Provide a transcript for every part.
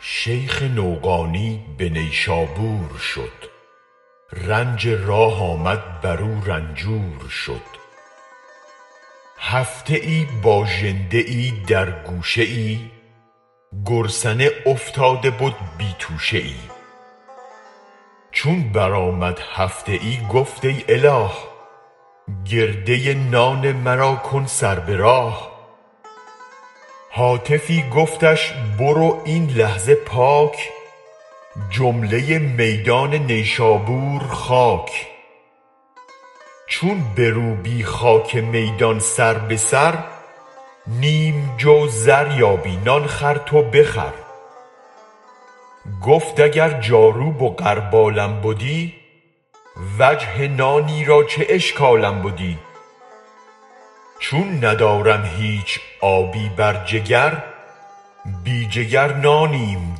شیخ نوقانی به نیشابور شد رنج راه آمد برو رنجور شد هفته ای باژنده در گوشه گرسنه افتاده بد بی توشه ای چون برآمد هفته ای گفت ای اله گرده نان مرا کن سر به راه هاتفی گفتش بروب این لحظه پاک جمله میدان نیشابور خاک چون بروبی خاک میدان سر به سر نیم جو زر یابی نان خر تو بخور گفت اگر جاروب و غربالم بدی وجه نانی را چه اشکالم بدی چون ندارم هیچ آبی بر جگر بی جگر نانیم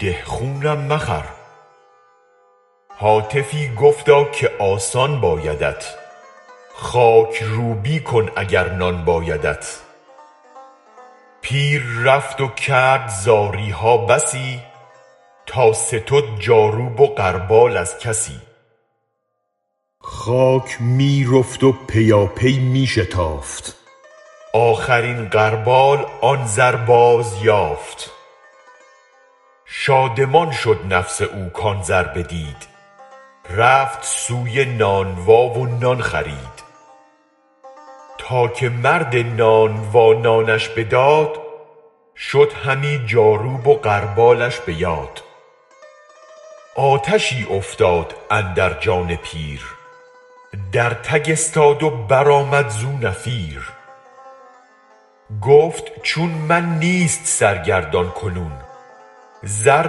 ده خونم مخور هاتفی گفتا که آسان بایدت خاک روبی کن اگر نان بایدت پیر رفت و کرد زاری ها بسی تا ستد جاروب و غربال از کسی خاک می رفت و پیاپی می شتافت آخرین غربال آن زر باز یافت شادمان شد نفس او کان زر بدید رفت سوی نانوا و نان خرید تا که مرد نانوا نانش بداد شد همی جاروب و غربالش به یاد آتشی افتاد اندر جان پیر در تگ استاد و برآمد زو نفیر گفت چون من نیست سرگردان کنون زر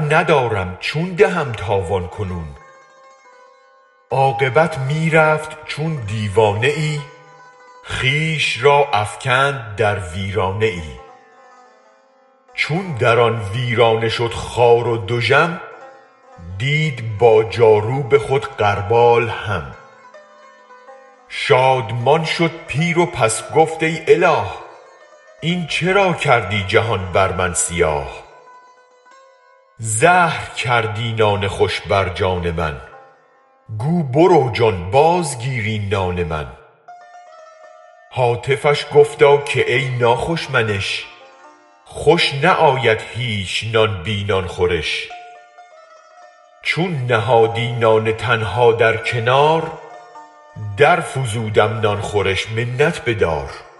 ندارم چون دهم تاوان کنون عاقبت می رفت چون دیوانه ای خویش را افکند در ویرانه ای چون در آن ویرانه شد خوار و دژم دید با جاروب خود غربال هم شادمان شد پیر و پس گفت ای اله این چرا کردی جهان بر من سیاه زهر کردی نان خوش بر جان من گو برو جان بازگیر این نان من هاتفش گفتا که ای ناخوش منش خوش نه آید هیچ نان بی نان خورش چون نهادی نان تنها در کنار درفزودم نان خورش منت بدار